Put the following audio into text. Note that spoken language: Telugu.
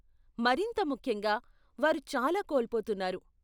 మరింత ముఖ్యంగా, వారు చాలా కోల్పోతున్నారు.